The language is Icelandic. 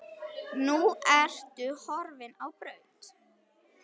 Nú ertu horfin á braut.